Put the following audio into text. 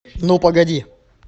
ну погоди